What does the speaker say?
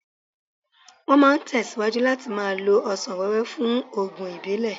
Wọ́n máa tẹ̀síwájú láti máa lo ọsàn wẹ́wẹ́ fún oògùn ìbílẹ̀.